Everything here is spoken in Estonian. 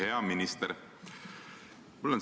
Hea minister!